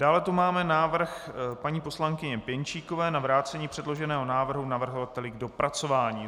Dále tu máme návrh paní poslankyně Pěnčíkové na vrácení předloženého návrhu navrhovateli k dopracování.